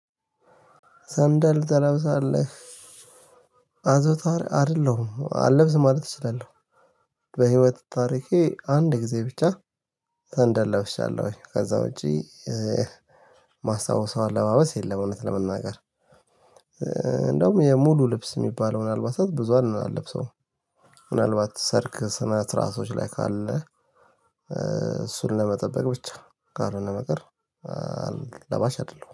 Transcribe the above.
ሰንደል ትለብሳለህ አዘውታሪ አይደለሁም አለብስም ማለት እችላለሁ። በህይወት ታሪኬ አንድ ጊዜ ብቻ ሰንደል ለብሻለሁ ከዛ ውጪ ማስታውሰው አለባበስ የለም። እውነት ለመናገር እንደውም ሙሉ ልብስ የሚባለውን አልባሳት ብዙ አለብሰውም። ምናልባት ሰርግ ስነስርዓትቶች ላይ ካለ እሱን ለመጠበቅ ብቻ ካልሆነ በቀር ለባሽ አይደለም